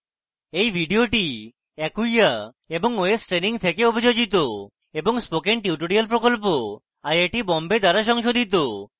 এই video acquia এবং ostraining থেকে অভিযোজিত এবং spoken tutorial প্রকল্প আইআইটি বোম্বে দ্বারা সংশোধিত